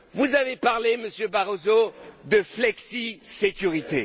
Vous avez parlé, Monsieur Barroso, de flexisécurité.